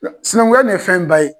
Sinankunya nin ye fɛn ba ye.